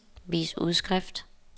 vis udskrift